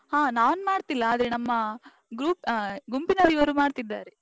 ಹಾ, ನಾನ್ ಮಾಡ್ತಿಲ್ಲ. ಆದ್ರೆ ನಮ್ಮಾ group ಆ ಗುಂಪಿನ ಇವರು ಮಾಡ್ತಿದ್ದಾರೆ.